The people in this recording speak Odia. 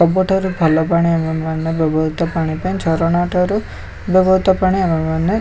ସବୁଠାରୁ ଭଲ ପାଣି ଆମେ ମାନେ ବ୍ୟବହୃତ ପାଣି ପାଇଁ ଆମେ ଝରଣା ଠାରୁ ବ୍ୟବହୃତ ପାଣି ପାଇଁ ଆମେ --